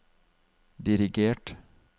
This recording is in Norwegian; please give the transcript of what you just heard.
dirigert